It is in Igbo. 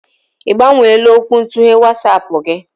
Ibgbanweela okwuntughe WatsAapụ gị?